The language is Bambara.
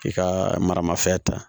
I ka maramafɛn ta